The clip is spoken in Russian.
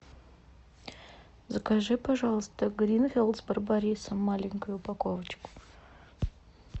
закажи пожалуйста гринфилд с барбарисом маленькую упаковочку